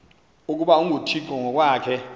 ukuba unguthixo ngokwakhe